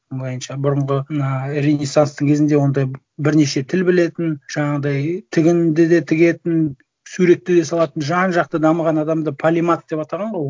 былайынша бұрынғы мына ренессанстың кезінде ондай бірнеше тіл білетін жаңағыдай тігінді де тігетін суретті де салатын жан жақты дамыған адамды полимат деп атаған ғой